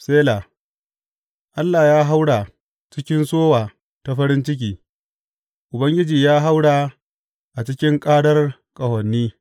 Sela Allah ya haura a cikin sowa ta farin ciki, Ubangiji ya haura a cikin ƙarar ƙahoni.